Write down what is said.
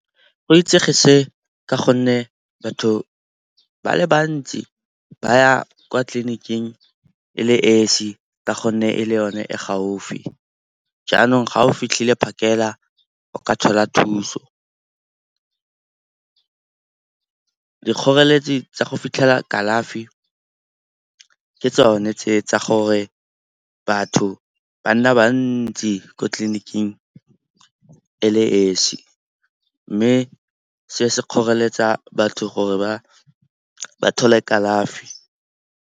Go itsege se ka gonne batho ba le bantsi ba ya kwa tleliniking e le esi ka gonne e le yone e gaufi, jaanong ga o fitlhile phakela o ka thola thuso. Dikgoreletsi tsa go fitlhela kalafi ke tsone tse tsa gore batho ba nna bantsi ko tleliniking e le esi, mme se se kgoreletsa batho gore ba thole kalafi.